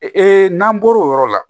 Ee n'an bɔr'o yɔrɔ la